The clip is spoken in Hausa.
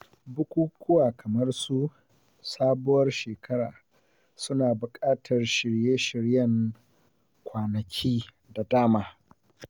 Bukukuwa kamar su; Sabuwar Shekara suna buƙatar shirye-shiryen kwanaki da dama.